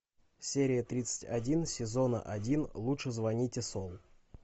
серия тридцать один сезона один лучше звоните солу